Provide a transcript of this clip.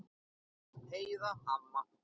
Heiða amma.